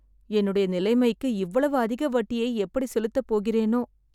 என்னுடைய நிலைமைக்கு இவ்வளவு அதிக வட்டியை எப்படி செலுத்தபோகிறேனோ!